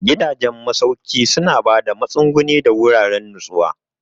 Gidajen masauki suna ba da matsuguni da wuraren nutsuwa.